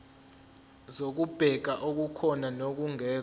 zokubheka okukhona nokungekho